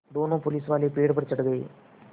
दोनों पुलिसवाले पेड़ पर चढ़ गए